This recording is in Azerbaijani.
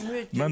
Mütləq.